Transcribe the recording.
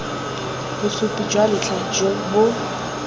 bosupi jwa ntlha jo bo